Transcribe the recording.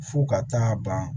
F'u ka taa ban